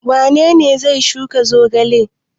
Wane ne zai shuka zogale?